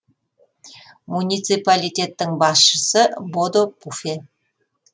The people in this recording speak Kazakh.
муниципалитеттің басшысы бодо пуфе